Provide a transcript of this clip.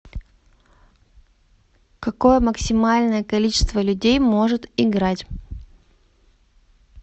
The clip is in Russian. какое максимальное количество людей может играть